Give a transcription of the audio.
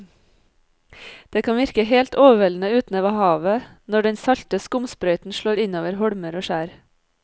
Det kan virke helt overveldende ute ved havet når den salte skumsprøyten slår innover holmer og skjær.